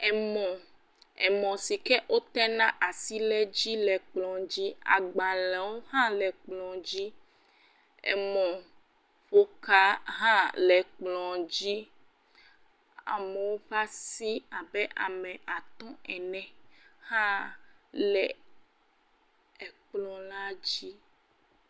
Emɔ, emɔ si ke wotena asi ɖe dzi le kplɔ dzi, agbalẽwo hã le kplɔ dzi, emɔƒoka hã le ekplɔ dzi, amewo ƒe asi abe ame atɔ̃ ene hã le ekplɔ la dzi.